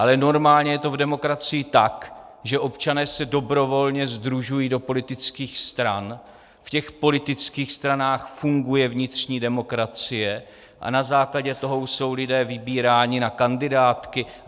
Ale normálně je to v demokracii tak, že občané se dobrovolně sdružují do politických stran, v těch politických stranách funguje vnitřní demokracie a na základě toho jsou lidé vybíráni na kandidátky.